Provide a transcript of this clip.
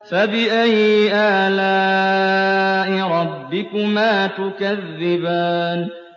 فَبِأَيِّ آلَاءِ رَبِّكُمَا تُكَذِّبَانِ